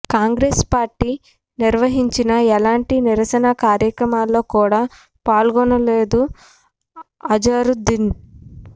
Congress party నిర్వహించిన ఎలాంటి నిరసన కార్యక్రమాల్లో కూడా పాల్గొనలేదు అజారుద్దీన్